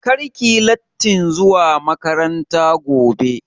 Kar ki yi lattin zuwa makaranta gobe!